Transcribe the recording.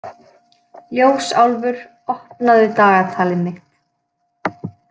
Ljósálfur, opnaðu dagatalið mitt.